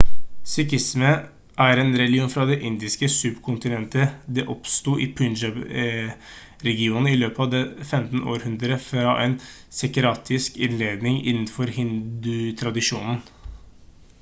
sikhisme er en religion fra det indiske subkontinentet det oppsto i punjab-regionen i løpet av det 15. århundre fra en sektariansk inndeling innenfor hindutradisjonen